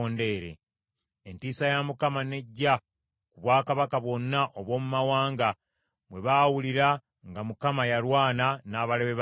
Entiisa ya Mukama n’ejja ku bwakabaka bwonna obw’omu mawanga, bwe baawulira nga Mukama yalwana n’abalabe ba Isirayiri .